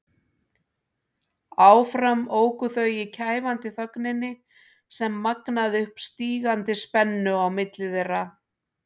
Áfram óku þau í kæfandi þögninni sem magnaði upp stígandi spennu á milli þeirra.